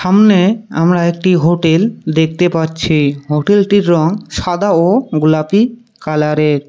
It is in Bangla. সামনে আমরা একটি হোটেল দেখতে পাচ্ছি হোটেলটির রঙ সাদা ও গোলাপি কালারের।